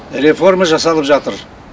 реформа жасалып жатыр